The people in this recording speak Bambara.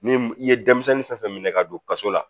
Ni i ye denmisɛnnin fɛn fɛn minɛ ka don kaso la